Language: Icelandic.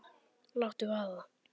Láttu vaða